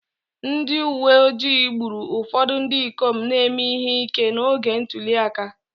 Ndị uwe ojii gburu ụfọdụ ndị ikom na-eme ihe ike n'oge ntuli aka